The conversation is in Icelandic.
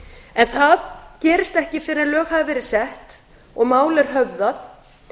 en það gerist ekki fyrr en lög hafa verið sett og mál er höfðað